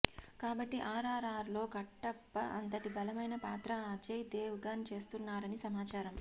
కాబట్టి R R R లో కట్టప్ప అంతటి బలమైన పాత్ర అజయ్ దేవ్ గణ్ చేస్తున్నారని సమాచారం